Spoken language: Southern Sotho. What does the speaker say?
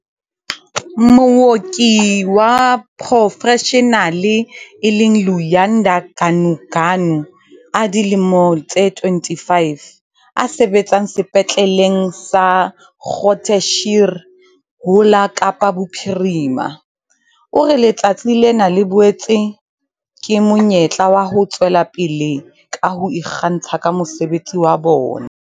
Mooki wa porofeshenale e leng Luyanda Ganuganu, a dilemo tse 25, a sebetsang Sepetleleng sa Groote Schuur ho la Kapa Bophirima, o re letsatsi lena le boetse ke monyetla wa ho tswela pele ka ho ikgantsha ka mosebetsi wa bona.